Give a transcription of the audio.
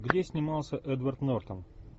где снимался эдвард нортон